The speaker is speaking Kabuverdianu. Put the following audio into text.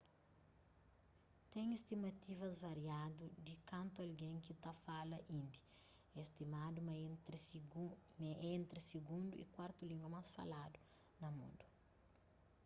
ten stimativas variadu di kantu algen ki ta fala indi é stimadu ma é entri sigundu y kuartu língua más faladu na mundu